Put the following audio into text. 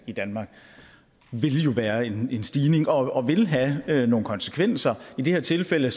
i danmark vil jo være en stigning og vil have nogle konsekvenser i det her tilfælde